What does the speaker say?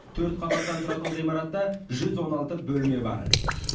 төрт қабаттан тұратын ғимаратта жүз он алты бөлме бар